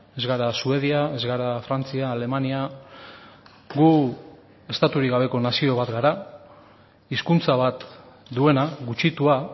ez gara suedia ez gara frantzia alemania gu estaturik gabeko nazio bat gara hizkuntza bat duena gutxitua